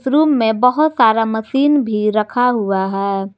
इस रूम में बहोत सारा मशीन भी रखा हुआ है।